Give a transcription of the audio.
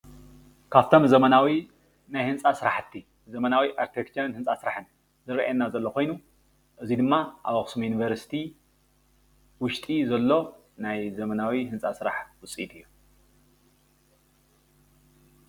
ካብቶም ዘመናዊ ናይ ህንፃ ስራሕቲ ዘመናዊ ኣርቼክተር ህንፃ ስራሕን ዝረአየና ዘሎ ኮይኑ እዚ ድማ ኣብ ኣክሱም ዩኒቨርሲቲ ውሽጢ ዘሎ ናይ ዘመናዊ ህንፃ ስራሕ ውፂኢት እዩ::